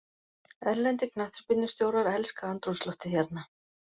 Erlendir knattspyrnustjórar elska andrúmsloftið hérna.